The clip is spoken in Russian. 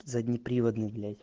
заднеприводный блять